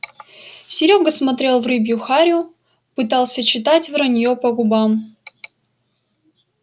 серёга смотрел в рыбью харю пытался читать враньё по губам